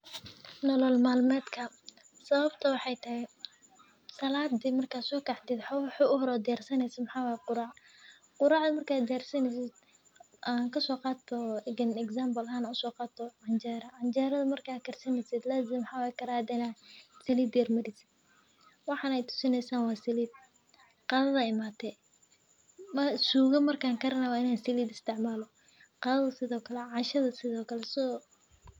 Nolol malmeedka sawabta maxee tahay saladi marka sokacdi waxaa aa siyarsanesid waacanjera karayada marka aa sarto lazim in aa salida mariaid cashada sithokale qadasa sithokale.